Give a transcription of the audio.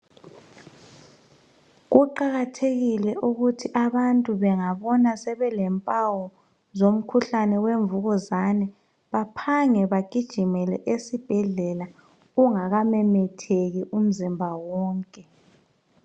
Kuqakathekile ukuthi abantu bengabona sebelempawu zomkhuhlane wemvukuzane baphange bagijimele esibhedlela kungaka memetheki umzimba wonke.